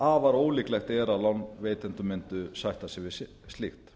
afar ólíklegt er að lánveitendur mundu sætta sig við slíkt